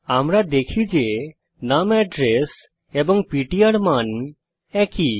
আমরা দেখি যে নুম এড্রেস এবং পিটিআর মান একই